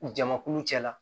Jamakulu cɛla